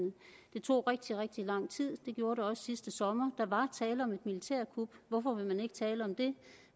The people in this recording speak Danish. det tog rigtig rigtig lang tid det gjorde det også sidste sommer der var tale om et militærkup hvorfor vil man ikke tale om det